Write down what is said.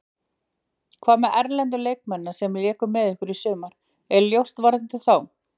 Hvað með erlendu leikmennina sem léku með ykkur í sumar, er ljóst varðandi þá?